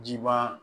Jiba